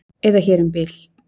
eða hér um bil.